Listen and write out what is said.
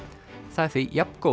það er því jafngóður